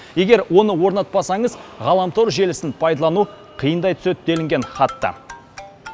егер оны орнатпасаңыз ғаламтор желісін пайдалану қиындай түседі делінген хатта